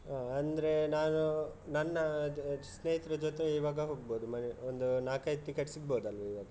ಹ ಅಂದ್ರೆ ನಾನು ನನ್ನ ಸ್ನೇಹಿತರ ಜೊತೆ ಇವಾಗ ಹೋಗ್ಬಹುದು ಮನೆ ಒಂದು ನಾಲ್ಕೈದು ticket ಸಿಗ್ಬಹುದು ಅಲ್ಲಾ ಇವಾಗ?